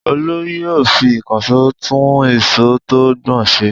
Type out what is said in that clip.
Olú yóò fi ìkànṣó tún isọ̀ tó ń gbọ̀n ṣe.